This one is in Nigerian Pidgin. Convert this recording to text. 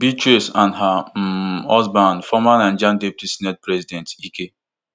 beatrice and her um husband former nigeria deputy senate president ike